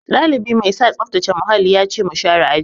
Ɗalibi mai sa tsaftace muhalli ya ce mu share aji.